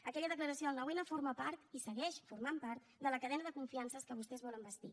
aquella declaració del nou n forma part i segueix formant part de la cadena de confiances que vostès volen bastir